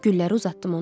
Gülləri uzatdım ona.